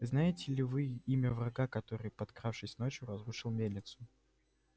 знаете ли вы имя врага который подкравшись ночью разрушил мельницу